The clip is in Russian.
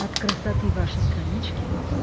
от красоты вашей странички